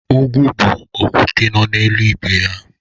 Ugwu bụ okwute nọ n'elu ibe ya.